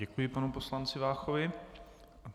Děkuji panu poslanci Váchovi.